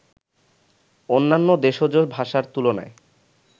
অন্যান্য দেশজ ভাষার তুলনায়